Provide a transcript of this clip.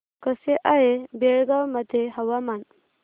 कसे आहे बेळगाव मध्ये हवामान